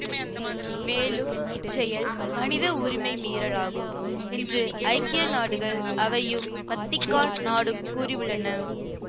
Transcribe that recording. மேலும் இச்செயல் மனித உரிமை மீறல் ஆகும் என்று ஐக்கிய நாடுகள் அவையும் வத்திக்கான் நாடும் கூறியுள்ளன